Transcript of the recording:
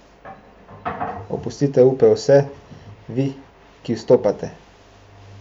Opustite upe vse, vi, ki vstopate.